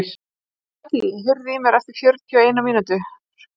Katý, heyrðu í mér eftir fjörutíu og eina mínútur.